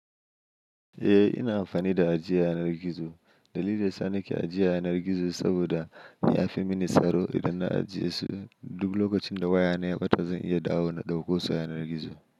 Eh ina amfani da ajiya yanar gizo. Dalilin da yasa nake ajiya a yanar gizo saboda ya fi mini tsaro idan na ajiye su. Duk lokacin da wayana ya ɓata zan iya dawo na ɗakkoso a yanar gizo.